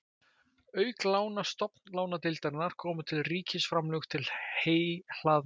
Auk lána Stofnlánadeildarinnar koma til ríkisframlög til heyhlaðna.